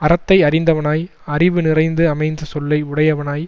அறத்தை அறிந்தவனாய் அறிவு நிறைந்து அமைந்த சொல்லை உடையவனாய்